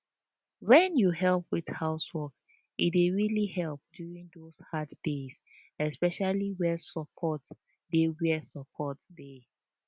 wen you help with housework e dey really help during those hard days especially where support dey where support dey